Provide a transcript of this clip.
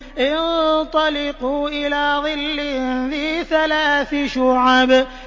انطَلِقُوا إِلَىٰ ظِلٍّ ذِي ثَلَاثِ شُعَبٍ